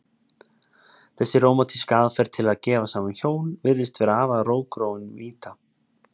Þessi rómantíska aðferð til að gefa saman hjón virðist vera afar rótgróin mýta.